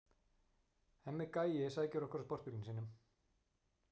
Hemmi gæi sækir okkur á sportbílnum sínum.